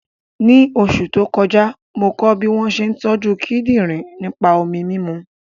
Ní oṣù tó kọjá, mo kọ́ bí wọ́n ṣe ń tọ́jú kíndìnrín nípa mímu omi